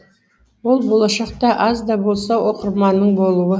ол болашақта аз да болса оқырманыңның болуы